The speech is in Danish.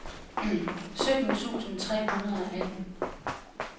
sytten tusind tre hundrede og atten